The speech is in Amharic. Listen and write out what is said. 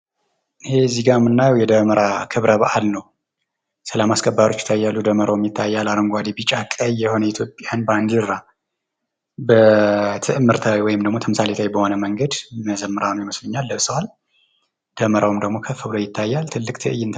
ይሄ እዚህ ጋ የምናየው የደመራ ክብረ በአል ነው። ሰላም አስከባሪዎች ይታያሉ ደመራውም ይታያል አረንጓዴ፣ ቢጫ፣ ቀይ የሆነ የኢትዮጵያን ባንዲራ በትዕምርታዊ ወይም ደሞ ተምሳሌታዊ በሆነ መንገድ መዘምራን ይመስሉኛል ለብሰዋል። ደመራውም ደሞ ከፍ ብሎ ይታያል። ትልቅ ትዕይንት ነው።